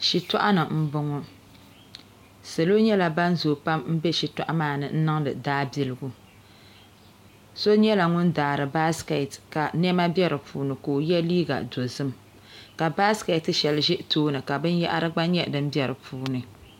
Shitɔɣ ni mbɔŋɔ salo nyɛla ban zoo pam nbɛ shitɔɣ maa ni nniŋdi daa biligu so nyɛla ŋun daari baskɛt ka nɛma bɛ di puuni ka o yɛ liiga dozim ka baskɛti shɛli ʒi tooni ka binyahri gba nyɛ din bɛ dipuuni